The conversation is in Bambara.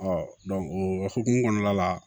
o hokumu kɔnɔna la